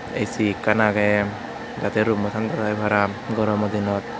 ai ci akkan ageh jateh room mu tanda tai para goromo dinot.